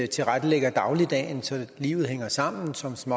tilrettelægger dagligdagen så livet hænger sammen som som